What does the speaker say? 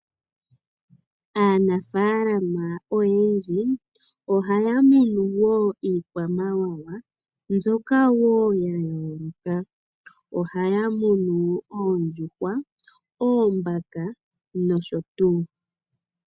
Aanafalama oyendji ohaya muno wo iikwamawawa mbyoka woo ya yooloka. Ohaya munu oondjuhwa, oombaka nosho tuu.